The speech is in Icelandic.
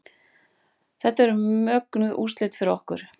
Þetta eru mögnuð úrslit fyrir okkur